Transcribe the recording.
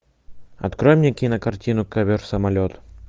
открой мне кинокартину ковер самолет